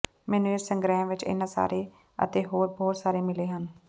ਮੈਨੂੰ ਇਸ ਸੰਗ੍ਰਹਿ ਵਿਚ ਇਹਨਾਂ ਸਾਰੇ ਅਤੇ ਹੋਰ ਬਹੁਤ ਸਾਰੇ ਮਿਲੇ ਹਨ